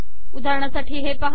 उदाहरणासाठी हे पाहा